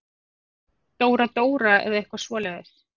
Dóra-Dóra eða eitthvað svoleiðis.